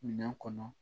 Minɛn kɔnɔ